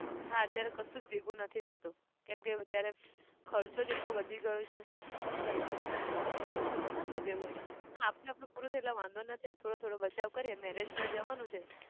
હા અત્યારે કશું જ ભેગું નથી થતું. કેમ કે અત્યારે ખર્ચો જ એટલો વધી ગયો છે ઘરમાં થશે ભેગું હા આપણે આપણું પૂરું થાય એટલે વાંધો નથી થોડો થોડો બચાવ કરીએ marriage માં જવાનું છે.